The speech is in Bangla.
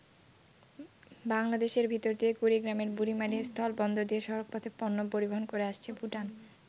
বাংলাদেশের ভিতর দিয়ে কুড়িগ্রামের বুড়িমারী স্থলবন্দর দিয়ে সড়কপথে পণ্য পরিবহন করে আসছে ভুটান।